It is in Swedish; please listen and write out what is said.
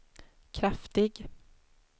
kraftig